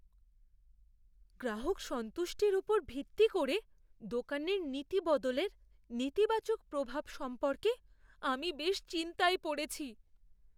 গ্রাহক সন্তুষ্টির উপর ভিত্তি করে দোকানের নীতি বদলের নেতিবাচক প্রভাব সম্পর্কে আমি বেশ চিন্তায় পড়েছি।